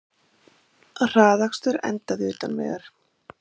Hraðakstur endaði utan vegar